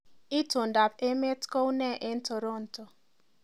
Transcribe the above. Itondoab emet koune en Toronto